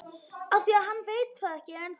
Af því að hann veit það ekki ennþá.